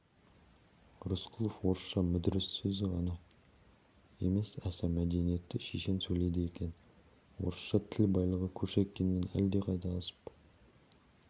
рысқұлов орысша мүдіріссіз ғана емес аса мәдениетті шешен сөйлейді екен орысша тіл байлығы кушекиннен әлдеқайда асып